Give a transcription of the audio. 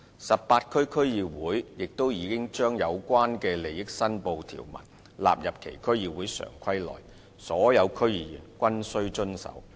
18區區議會亦已將有關利益申報的條文納入其《區議會常規》內，所有區議員均須遵守。